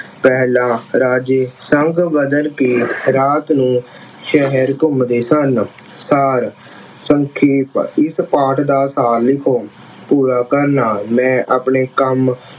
ਪਹਿਲਾ ਰਾਜੇ ਸੰਗ ਬਦਲ ਕਿ ਰਾਤ ਨੂੰ ਸ਼ਹਿਰ ਘੁੰਮਦੇ ਸਨ। ਸਾਰ ਸੰਖੇਪ, ਇੱਕ ਪਾਠ ਦਾ ਸਾਰ ਲਿਖੋ। ਪੂਰਾ ਕਰਨਾ ਮੈਂ ਆਪਣਾ ਕੰਮ